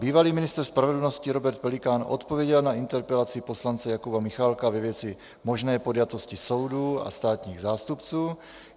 Bývalý ministr spravedlnosti Robert Pelikán odpověděl na interpelaci poslance Jakuba Michálka ve věci možné podjatosti soudu a státních zástupců.